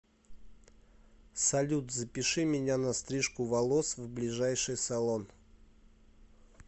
салют запиши меня на стрижку волос в ближайший салон